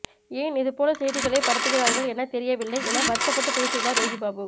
ஏன் இது போல செய்திகளை பரப்புகிறார்கள் என தெரியவில்லை என வருத்தப்பட்டு பேசியுள்ளார் யோகிபாபு